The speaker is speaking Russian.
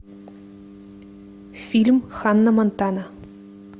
фильм ханна монтана